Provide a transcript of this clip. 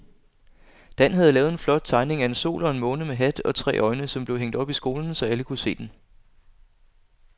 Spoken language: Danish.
Dan havde lavet en flot tegning af en sol og en måne med hat og tre øjne, som blev hængt op i skolen, så alle kunne se den.